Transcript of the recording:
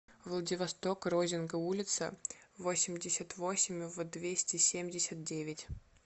владивосток розинга улица восемьдесят восемь в двести семьдесят девять